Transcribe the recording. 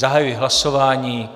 Zahajuji hlasování.